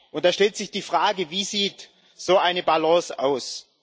Und da stellt sich die Frage Wie sieht so eine Balance aus?